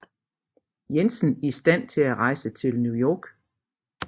Jensen i stand til at rejse til New York